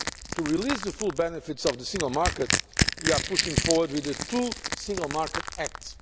To release the full benefits of the single market we are pushing forward with the two Single Market Acts.